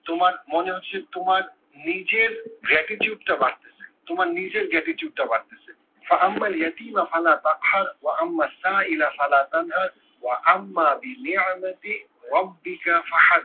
তোমার মনে হচ্ছে তোমার নিজের gratitude টা বাড়তেসে। তোমার নিজের gratitude টা বাড়তেসে।